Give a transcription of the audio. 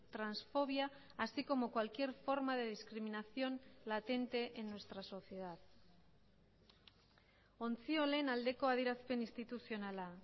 transfobia así como cualquier forma de discriminación latente en nuestra sociedad ontziolen aldeko adierazpen instituzionala